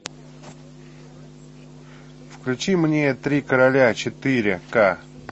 включи мне три короля четыре ка